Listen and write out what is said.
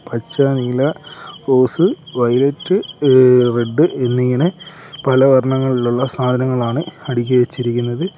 പച്ച നീല rose violet ഏഹ് റെഡ് എന്നിങ്ങനെ പല വർണങ്ങളിലുള്ള സാധനങ്ങളാണ് അടുക്കിച്ചിരിക്കുന്നത്.